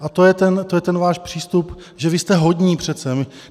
A to je ten váš přístup, že vy jste hodní přece.